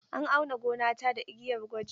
An auna gonata da igiyar gwaji.